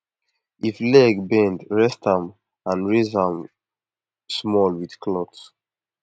if leg bend rest am and raise am small with cloth